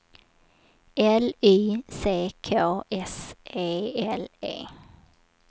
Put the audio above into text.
L Y C K S E L E